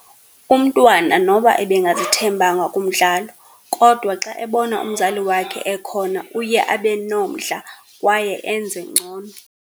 Umntwana noba ebengazithembanga kumdlalo, kodwa xa ebona umzali wakhe ekhona uye abe nomdla kwaye enze ngcono.